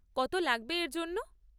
কত লাগবে এর জন্য?